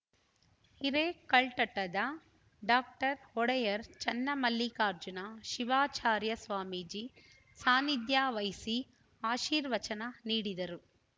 ಹಿರೇಕಲ್ಠಠದ doctor Odeyar Channamallikarjuna Shivacharya Swamiji ಸಾನಿಧ್ಯ ವಹಿಸಿ ಆಶೀರ್ವಚನ ನೀಡಿದರು